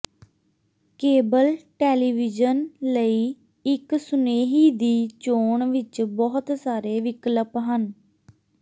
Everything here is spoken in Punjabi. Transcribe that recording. ਕੇਬਲ ਟੈਲੀਵੀਯਨ ਲਈ ਇੱਕ ਸੁਨੇਹੀ ਦੀ ਚੋਣ ਵਿਚ ਬਹੁਤ ਸਾਰੇ ਵਿਕਲਪ ਹਨ